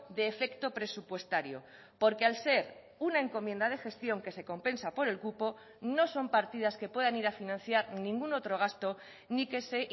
de efecto presupuestario porque al ser una encomienda de gestión que se compensa por el cupo no son partidas que puedan ir a financiar ningún otro gasto ni que se